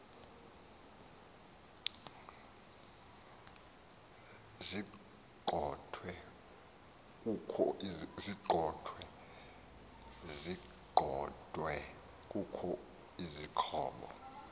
ziqondwe kukho izixhobo